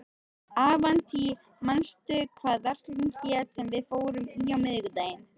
Avantí, manstu hvað verslunin hét sem við fórum í á miðvikudaginn?